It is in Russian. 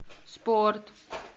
спорт